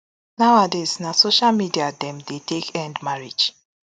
nowadays na social media dem dey take end marriage